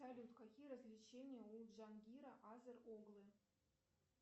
салют какие развлечения у джангира азер оглы